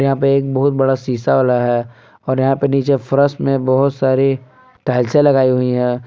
यहां पे एक बहुत बड़ा सीसा वाला है और यहां पे नीचे फरश में बहुत सारी टाइल्से लगाई हुई हैं।